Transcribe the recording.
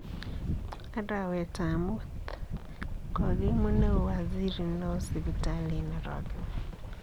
Arawetab muut: Kogimuut neo waziri neo sipitali en orogeneet.